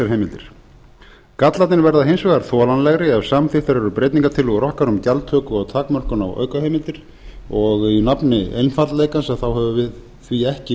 heimildir gallarnir verða hins vegar þolanlegri ef samþykktar eru breytingartillögur okkar um gjaldtöku og takmörkun á aukaheimildir í nafni einfaldleikans höfum við því ekki